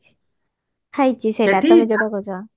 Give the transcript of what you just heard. ଖାଇଛି ସେଟା ଯୋଉଟା କହୁଛ